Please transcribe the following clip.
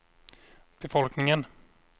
befolkningen